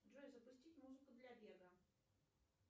джой запустить музыку для бега